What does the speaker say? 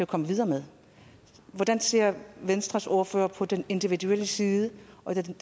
komme videre med hvordan ser venstres ordfører på den individuelle side